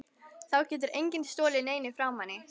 Þá getur enginn stolið neinu frá manni.